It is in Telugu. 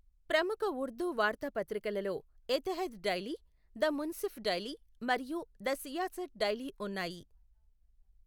ప్రముఖ ఉర్దూ వార్తాపత్రికలలో ఎతెహాద్ డైలీ, ద మున్సిఫ్ డైలీ మరియు ద సియాసత్ డైలీ ఉన్నాయి.